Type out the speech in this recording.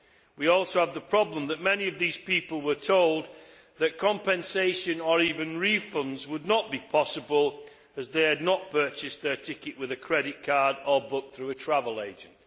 We also had the problem that many of those people were told that compensation, or even refunds, would not be possible as they had not purchased their ticket with a credit card or booked through a travel agent.